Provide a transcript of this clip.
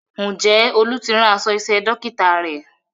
Ǹjẹ́ Olú ti rán aṣọ iṣẹ́ Dókítà rẹ̀?